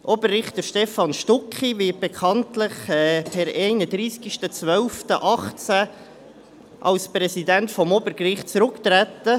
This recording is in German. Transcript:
Oberrichter Stephan Stucki wird bekanntlich per 31.12.2018 als Präsident des Obergerichts zurücktreten.